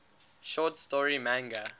short story manga